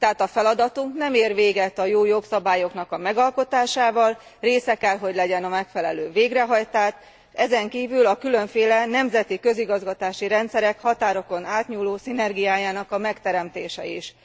Tehát a feladatunk nem ér véget a jó jogszabályok megalkotásával, része kell hogy legyen a megfelelő végrehajtás, ezenkívül a különféle nemzeti közigazgatási rendszerek határokon átnyúló szinergiájának megteremtése is.